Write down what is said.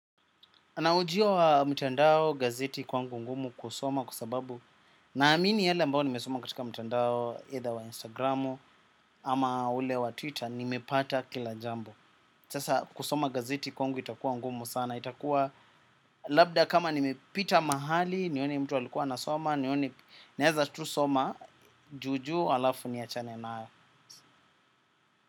Anaujia wa mtandao gazeti kwangu ngumu kusoma kwa sababu naamini yale ambayo nimesoma katika mtandao either wa Instagramu ama ule wa Twitter. Nimepata kila jambo sasa kusoma gazeti kwangu itakuwa ngumu sana itakuwa. Labda kama nimepita mahali nione mtu alikuwa anasoma. Nione naeza tu soma juu juu halafu niachane nayo.